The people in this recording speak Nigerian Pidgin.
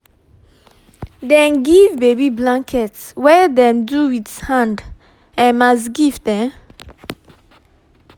dem give baby blanket wey dem do with hand um as gift um